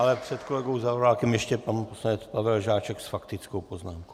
Ale před kolegou Zaorálkem ještě pan poslanec Pavel Žáček s faktickou poznámkou.